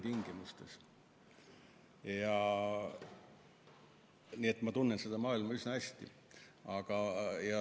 Nii et ma tunnen seda maailma üsna hästi.